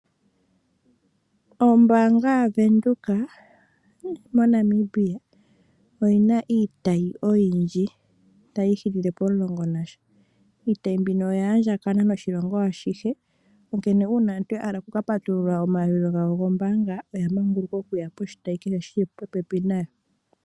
Ombaanga ya Windhoek mo Namibia oyina iitayi oyindji tayi ihili le pomulongo nasha. Iitayi mbino oya andjakana noshilongo ashihe, onkene uuna aantu ya hala oku ka patulula omayalulilo gawo gombaanga oya manguluka okuya poshitayi kehe shili popepi nayo.